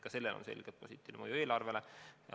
Ka sellel on selgelt positiivne mõju eelarvele.